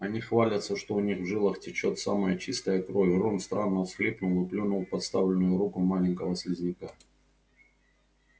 они хвалятся что у них в жилах течёт самая чистая кровь рон странно всхлипнул и плюнул в подставленную руку маленького слизняка